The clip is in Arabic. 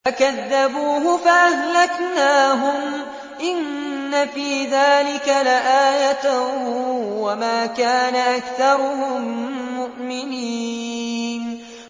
فَكَذَّبُوهُ فَأَهْلَكْنَاهُمْ ۗ إِنَّ فِي ذَٰلِكَ لَآيَةً ۖ وَمَا كَانَ أَكْثَرُهُم مُّؤْمِنِينَ